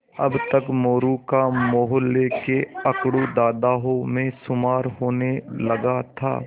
अब तक मोरू का मौहल्ले के अकड़ू दादाओं में शुमार होने लगा था